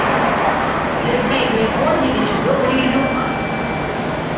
сергей григорьевич гаврилюк